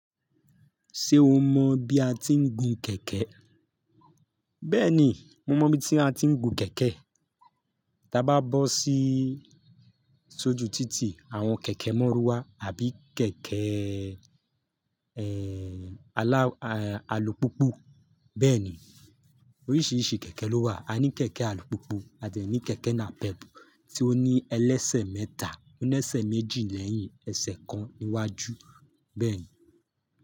Ṣé o mọ bí a ti ń gun kẹ̀kẹ́? Bẹ́ẹ̀ni, mo mọ̀ bi tí a ti ń gun kẹ̀kẹ́. Táa bá bọ́ sí, sójú títì, àwọn kẹ̀kẹ́ Mọ́rúwá àbí keke alùpùpù. Bẹ́ẹ̀ni, oríṣìíríṣìí kẹ̀kẹ́ ló wà. A ní kẹ̀kẹ́ alùpùpù, a dẹ̀ ní kẹ̀kẹ́ nàpẹ́pù tí ó ní ẹlẹ́sẹ̀ mẹ́ta, ó ní ẹsẹ̀ méjì lẹ́yìn ẹsẹ̀ kan níwájú, bẹ́ẹ̀ni.